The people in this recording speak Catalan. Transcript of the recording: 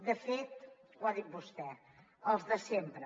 de fet ho ha dit vostè els de sempre